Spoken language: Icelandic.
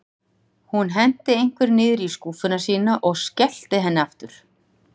Hún henti einhverju niður í skúffuna sína og skellti henni aftur.